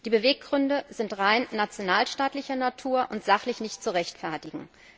Die Beweggründe sind rein nationalstaatlicher Natur und sachlich nicht zu rechtfertigen.